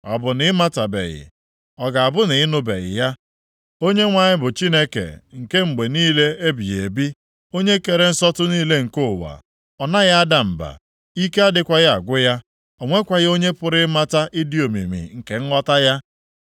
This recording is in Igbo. Ọ bụ na ị matabeghị? Ọ ga-abụ na ị nụbeghị ya? Onyenwe anyị bụ Chineke nke mgbe niile ebighị ebi, Onye kere nsọtụ niile nke ụwa. Ọ naghị ada mba; ike adịghịkwa agwụ ya. O nwekwaghị onye pụrụ ịmata ịdị omimi nke nghọta ya.